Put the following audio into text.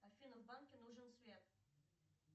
афина в банке нужен свет